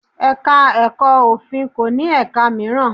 Ẹ̀ka-ẹ̀kọ́ òfin kò ní ẹ̀ka mìíràn.